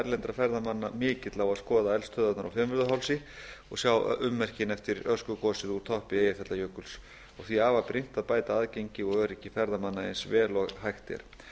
erlendra ferðamanna mikill á að skoða eldstöðvarnar á fimmvörðuhálsi og sjá ummerkin eftir öskugosið úr toppi eyjafjallajökuls og því afar brýnt að bæta aðgengi og öryggi ferðamanna eins vel og hægt er